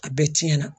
A bɛɛ tiɲɛna